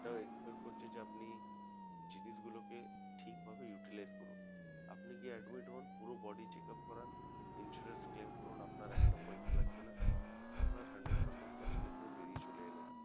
Expect করছে যে আপনি জিনিসগুলোকে ঠিকভাবে utilize করুন আপনি গিয়ে admit হোন পুরো body checkup করান insurance claim করান আপনার একটা পয়সা লাগবে না আপনার hundred percent cashless এ বেরিয়ে চলে এলেন